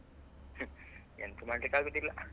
ಎಂತ ಮಾಡ್ಲಿಕ್ಕೆ ಆಗುದಿಲ್ಲ.